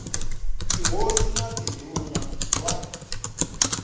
tihosi na tindhuna r wa